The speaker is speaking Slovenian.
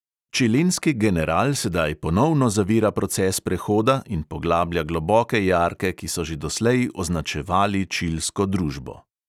Čilenski general sedaj ponovno zavira proces prehoda in poglablja globoke jarke, ki so že doslej označevali čilsko družbo.